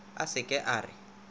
a se ke a re